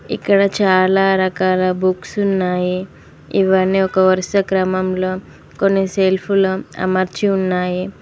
ఇక్కడ చాలా రకాల బుక్స్ ఉన్నాయి ఇవన్నీ ఒక వరుస క్రమంలో కొన్ని సెల్ఫులో అమర్చి ఉన్నాయి.